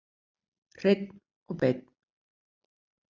Hreinn og beinn.